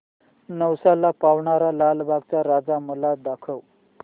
नवसाला पावणारा लालबागचा राजा मला दाखव